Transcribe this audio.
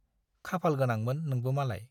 खाफाल गोनांमोन नोंबो मालाय।